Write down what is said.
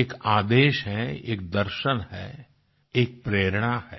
एक आदेश है एक दर्शन है एक प्रेरणा है